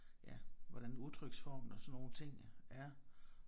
Ja hvordan udtryksformen og sådan nogle ting er